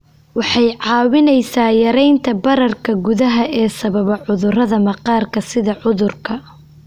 Waxay kaa caawinaysaa yaraynta bararka gudaha ee sababa cudurrada maqaarka sida cudurka